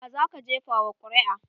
Wa zaka jefa wa ƙuri'a?